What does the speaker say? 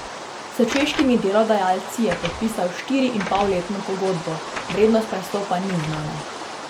S češkimi delodajalci je podpisal štiriinpolletno pogodbo, vrednost prestopa ni znana.